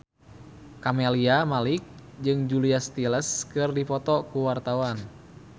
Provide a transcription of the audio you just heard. Camelia Malik jeung Julia Stiles keur dipoto ku wartawan